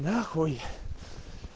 нахуй